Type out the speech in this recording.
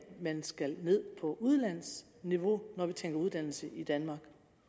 man skal ned på udlandsniveau når vi tænker uddannelse i danmark